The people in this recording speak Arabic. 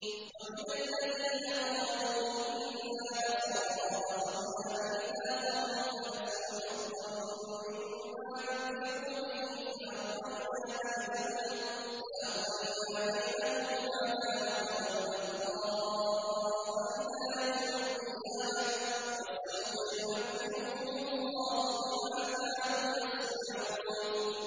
وَمِنَ الَّذِينَ قَالُوا إِنَّا نَصَارَىٰ أَخَذْنَا مِيثَاقَهُمْ فَنَسُوا حَظًّا مِّمَّا ذُكِّرُوا بِهِ فَأَغْرَيْنَا بَيْنَهُمُ الْعَدَاوَةَ وَالْبَغْضَاءَ إِلَىٰ يَوْمِ الْقِيَامَةِ ۚ وَسَوْفَ يُنَبِّئُهُمُ اللَّهُ بِمَا كَانُوا يَصْنَعُونَ